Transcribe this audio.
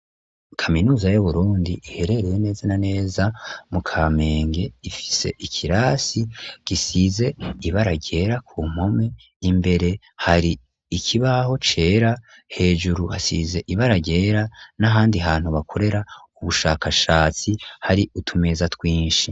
Kaminuza y'Uburundi iherereye neza na neza mu Kamenge, ifise ikirasi gisize ibara ryera ku mpome, imbere hari ikibaho cera, hejuru hasize ibara ryera n'ahandi hantu bakorera ubushakashatsi, hari utumeza twinshi.